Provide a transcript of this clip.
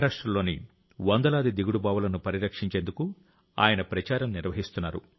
మహారాష్ట్రలోని వందలాది దిగుడు బావులను పరిరక్షించేందుకు ఆయన ప్రచారం నిర్వహిస్తున్నారు